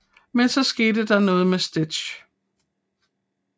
Men så sker noget med Stitch